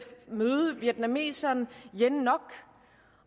møde vietnameseren yen ngoc